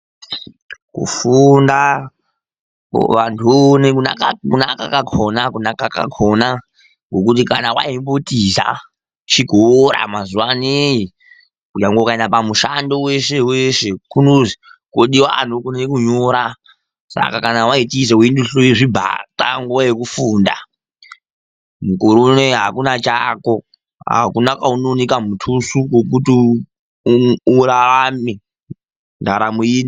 Kufunda vantu voone kunaka kwakona ngekuti kana waimbotiza chikora mazuvano nyangwe ukaenda pamushando weshe weshe kunonzi kunodiwa anogone kunyora saka kana waitiza uchiduhlure zvibhapa nguva yekufunda mukwero uno uyu hakuna chako hakuna kwaunowanikwa mutusu wekuti urarame.